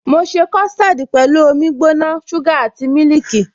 Mo ṣe custard pẹ̀lú omi gbóná, suga àti mílìkì.